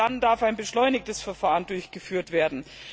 Erst dann darf ein beschleunigtes Verfahren durchgeführt werden.